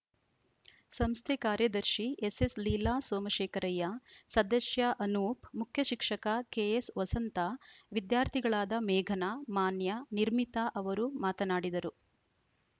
ಸಂಸ್ಥೆ ಕಾರ್ಯದರ್ಶಿ ಎಸ್‌ಎಸ್‌ ಲೀಲಾ ಸೋಮಶೇಖರಯ್ಯ ಸದಸ್ಯ ಅನೂಪ್‌ ಮುಖ್ಯಶಿಕ್ಷಕ ಕೆಎಸ್‌ ವಸಂತ ವಿದ್ಯಾರ್ಥಿಗಳಾದ ಮೇಘನ ಮಾನ್ಯ ನಿರ್ಮಿತ ಅವರು ಮಾತನಾಡಿದರು